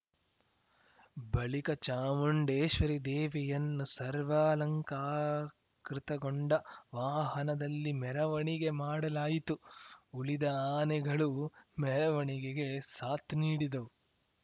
ಬಳಿಕ ಚಾಮುಂಡೇಶ್ವರಿ ದೇವಿಯನ್ನು ಸರ್ವಾಲಂಕಾರಕೃತಗೊಂಡ ವಾಹನದಲ್ಲಿ ಮೆರವಣಿಗೆ ಮಾಡಲಾಯಿತು ಉಳಿದ ಆನೆಗಳು ಮೆರವಣಿಗೆಗೆ ಸಾಥ್‌ ನೀಡಿದವು